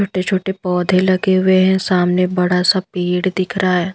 छोटे छोटे पौधे लगे हुए हैं सामने बड़ा सा पेड़ दिख रहा है।